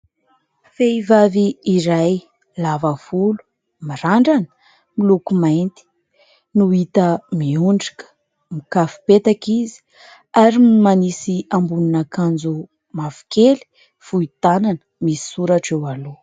Vehivavy iray lava volo mirandrana miloko mainty no hita miondrika mikafipetaka izy ary ny manisy ambonin'akanjo mavo kely fohy tanana misy soratra eo aloha.